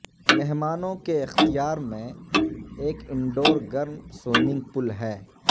مہمانوں کے اختیار میں ایک انڈور گرم سوئمنگ پول ہے